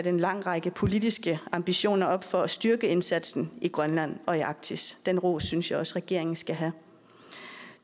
en lang række politiske ambitioner for at styrke indsatsen i grønland og i arktis den ros synes jeg også regeringen skal have